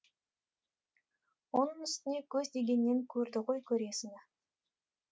оның үстіне көз дегеннен көрді ғой көресіні